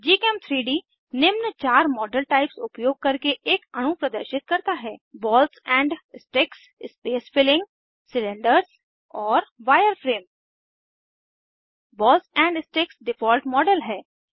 gchem3डी निम्न चार मॉडल टाइप्स उपयोग करके एक अणु प्रदर्शित करता है balls and sticks space filling cylinders और wireframe balls and sticks default model है